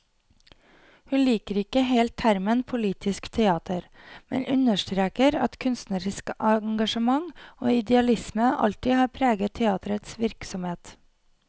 Hun liker ikke helt termen politisk teater, men understreker at kunstnerisk engasjement og idealisme alltid har preget teaterets virksomhet.